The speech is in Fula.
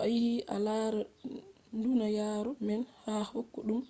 to a yiɗi a lara duniyaru man ha koyɗum